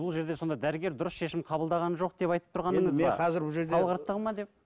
бұл жерде сонда дәрігер дұрыс шешім қабылдаған жоқ деп айтып тұрғаныңыз ба салғырттығы ма деп